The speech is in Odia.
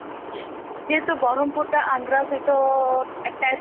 ଯେହେତୁ ବ୍ରହ୍ମପୁର ଟା ଆନ୍ଧ୍ର ସହିତ attached ଅଛି